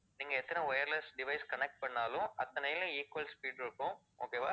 நீங்க எத்தனை wireless device connect பண்ணுனாலும், அத்தனைலயும் equal speed இருக்கும் okay வா